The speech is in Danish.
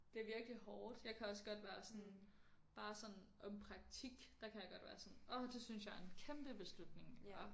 Det virkelig hårdt jeg kan også godt være sådan bare sådan om praktik der kan jeg godt være sådan åh det synes jeg er en kæmpe beslutning og